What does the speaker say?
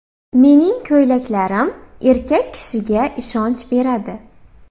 Mening ko‘ylaklarim erkak kishiga ishonch beradi.